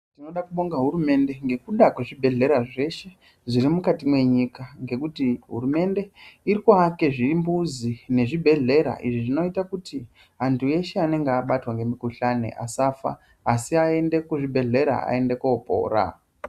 Tinoda kubonga hurumende ngekuda kwezvibhedhlera zveshe zviri mwukati mwenyika ngekuti hurumende iri kuake zvimbuzi nezvibhedhlera izvo zvinoita kuti antu eshe anenge abatwa ngemikuhlani asafa asi aende kuzvibhedhler aende kopora.